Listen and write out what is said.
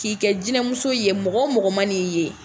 K'i kɛ jinɛmuso ye .Mɔgɔ mɔgɔ ma n'i ye